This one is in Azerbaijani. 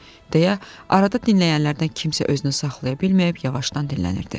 deyə arada dinləyənlərdən kimsə özünü saxlaya bilməyib yavaşdan dinlənirdi.